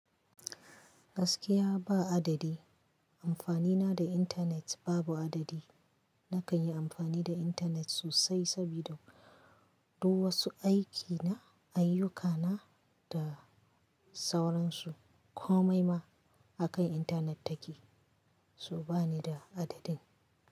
Gaskiya ba adadi. Amfani na da internet babu adadi. Nakan yi amfani da internet sosai sabida du wasu aiki na, ayyuka na da sauransu. Komai ma akan internet take, so ba ni da adadin.